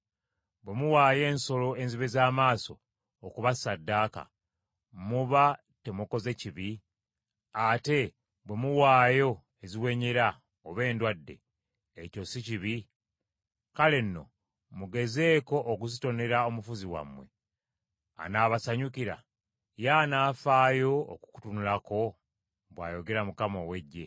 Bwe muwaayo ensolo enzibe z’amaaso okuba ssaddaaka, muba temukoze kibi? Ate bwe muwaayo eziwenyera oba endwadde, ekyo si kibi? Kale nno mugezeeko okuzitonera omufuzi wammwe, anaabasanyukira? Ye anaafaayo okukutunulako?” bw’ayogera Mukama ow’Eggye.